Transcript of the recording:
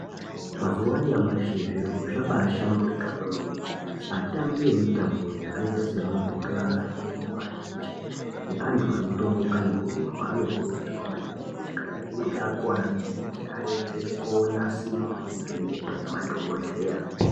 Mazuwa anyamashi zviro zvabashamburika kwemene atambi emitambo yakaita semabhora emarenje neanhu anotomuka nekurumba anokurudzirwa maningi kuti kana einga akuware murenje aende konasirwa nekuvhenekwa ngemadhokodheya